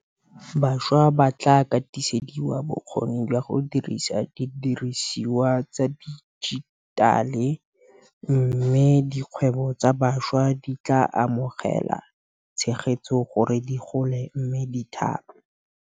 Bašwa ba tla katisediwa bokgoni jwa go dirisa didirisiwa tsa dijitale mme dikgwebo tsa bašwa di tla amogela tshegetso gore di gole mme di thape.